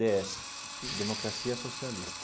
Dê esse Democracia Socialista.